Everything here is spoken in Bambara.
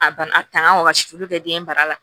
A bana a tangan wagasi olu bɛ kɛ den bara la